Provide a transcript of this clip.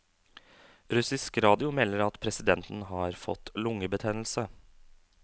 Russisk radio melder at presidenten har fått lungebetennelse.